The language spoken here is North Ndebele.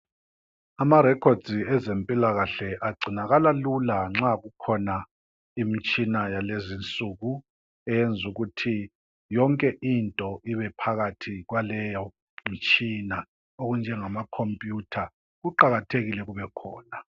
Ama records ezempilakahle agcinakala lula nxa kukhona imitshina yalezinsuku. Eyenzukuthi yonke into ibe phakathi kwaleyo mitshina .okunjengama khompuyutha kuqakathekile kubekhona.